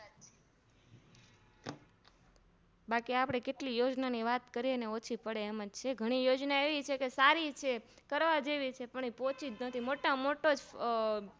બાકી આપણે કેટલી યોજનાઓ ની વાત કરીએ ને ઓછી પડે એમજ છે ઘણી યોજના એવી છેકે સારી છે કરવા જેવી છે પણ એ પોચી જ નથી